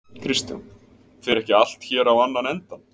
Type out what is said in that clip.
Kristján: Fer ekki allt hér á annan endann?